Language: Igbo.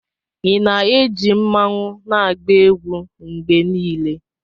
Ị na-eji mmanwu na-agba egwu mgbe niile?